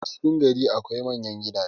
a cikin gari akwai manyan gidaje